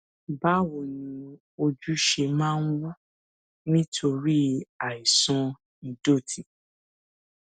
báwo ni ojú ṣe máa ń wú nítorí àìsàn ìdòtí